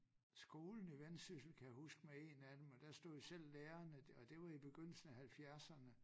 Skolen i Vendsyssel kan jeg huske med én af dem og der stod selv lærerne det og det var i begyndelse af halvfjerdserne